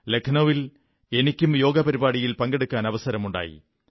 ലഖ്നൌവിൽ എനിക്കും യോഗ പരിപാടിയിൽ പങ്കെടുക്കാനവസരമുണ്ടായി